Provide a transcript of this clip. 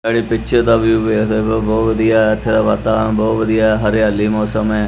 ਆਹ ਜੇਹੜੀ ਪਿਕਚਰ ਦਾ ਵਿਊ ਵੇਖਦੇ ਪਏ ਹੋ ਬੋਹੁਤ ਵਧੀਆ ਹੈ ਏੱਥੇ ਦਾ ਵਾਤਾਵਰਣ ਬੋਹੁਤ ਵਧੀਆ ਹੈ ਹਰਿਆਲੀ ਮੌਸਮ ਹੈ।